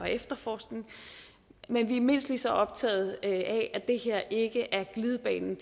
efterforskning men vi er mindst lige så optagede af at det her ikke er glidebanen